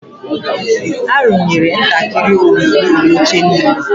Arụnyere ntakịrị onyonyo na oche niile.